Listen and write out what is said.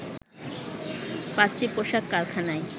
৫টি পোশাক কারখানায়